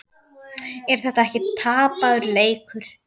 Er þetta ekki tapaður leikur?